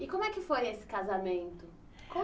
E como é que foi esse casamento?